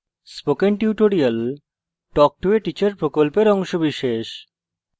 spoken tutorial talk to a teacher প্রকল্পের অংশবিশেষ